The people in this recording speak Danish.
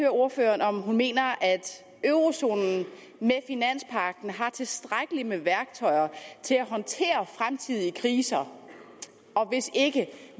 ordføreren om hun mener at eurozonen med finanspagten har tilstrækkeligt med værktøjer til at håndtere fremtidige kriser og hvis ikke